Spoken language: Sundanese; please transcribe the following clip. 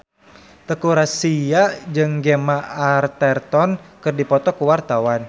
Teuku Rassya jeung Gemma Arterton keur dipoto ku wartawan